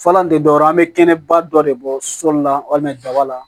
Falan tɛ dɔwɛrɛ ye an bɛ kɛnɛba dɔ de bɔ soli la walima daba la